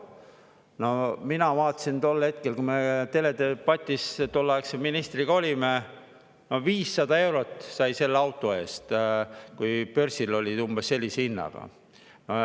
No mina vaatasin tol hetkel, kui me tolleaegse ministriga teledebatis olime, et 500 eurot sai selle auto eest, Börsis oli see umbes sellise hinnaga.